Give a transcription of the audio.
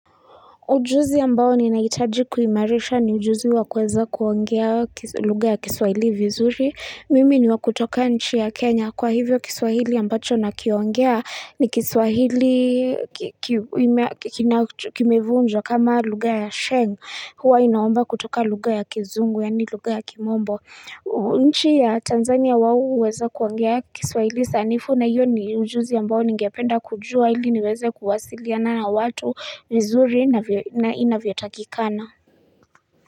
Ujuzi ambao ninahitaji kuimarisha ni ujuzi wa kuweza kuongea lugha ya kiswahili vizuri. Mimi ni wa kutoka nchi ya Kenya kwa hivyo kiswahili ambacho nakiongea ni kiswahili kimevunjwa kama lugha ya sheng huwa inaomba kutoka lugha ya kizungu yani lugha ya kimombo. Nchi ya Tanzania wao huweze kuongea kiswahili sanifu na iyo ni ujuzi ambao ningependa kujua ili niweze kuwasiliana na watu mzuri na inavyotakikana.